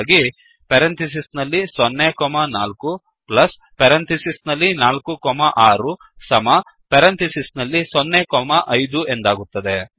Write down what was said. ಹಾಗಾಗಿ 0 4 4 6 0 5 ಎಂದಾಗುತ್ತದೆ